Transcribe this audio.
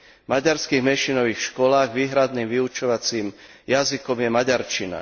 V maďarských menšinových školách je výhradným vyučovacím jazykom maďarčina.